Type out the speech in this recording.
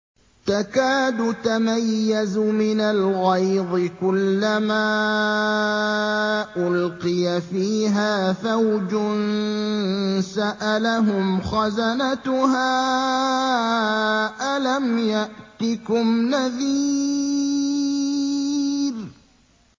تَكَادُ تَمَيَّزُ مِنَ الْغَيْظِ ۖ كُلَّمَا أُلْقِيَ فِيهَا فَوْجٌ سَأَلَهُمْ خَزَنَتُهَا أَلَمْ يَأْتِكُمْ نَذِيرٌ